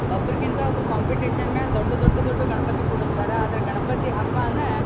ಒಬ್ಬರಿಗಿಂತ ಒಬ್ಬರು ಕಾಂಪಿಟಿಷನ್ ಮೇಲೆ ದೊಡ್ಡ ದೊಡ್ಡ ದೊಡ್ಡ ಗಣಪತಿ ಕೂಡಿಸ್ತಾರೆ. ಆದರೆ ಗಣಪತಿ ಹಬ್ಬಾನ--